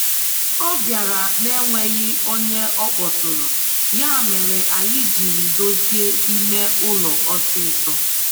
Ọ bịara na'enweghị ọnye ọkpọtụrụ, ya mere anyị jiri dozie ime ụlọ ọsịsọ.